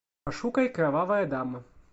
пошукай кровавая дама